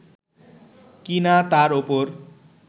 কি না তার ওপর